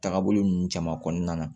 Taagabolo ninnu caman kɔnɔna na